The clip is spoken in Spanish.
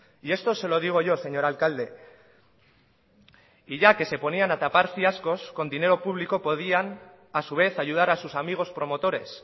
y esto se lo digo yo señor alcalde y ya que se ponían a tapar fiascos con dinero público podían a su vez ayudar a sus amigos promotores